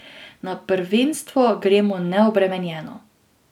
Na prvenstvo gremo neobremenjeno.